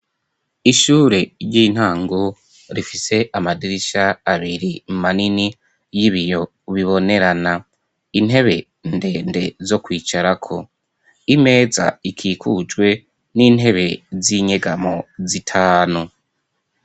Ishure ry'intango rifise amadirisha abiri manini y'ibiyo bibonerana, intebe ndende zo kwicarako, imeza ikikujwe n'intebe z'inyegamo zitanu.